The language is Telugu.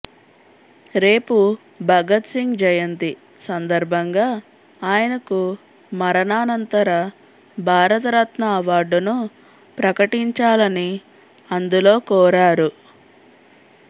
రేపు భగత్సింగ్ జయంతి సందర్భంగా ఆయనకు మరణానంతర భారతరత్న అవార్డును ప్రకటించాలని అందులో కోరారు